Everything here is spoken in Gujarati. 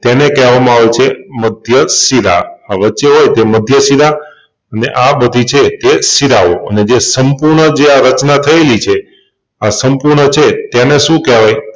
તેને કેહવામાં આવે છે મધ્યશિરા આ વચ્ચે હોય તે મધ્યશિરાને આ બધી છે એ શિરાઓ ને જે સંપૂર્ણ જે આ રચના થયેલી છે. આ સંપૂર્ણ છે તેને શું કેહવાય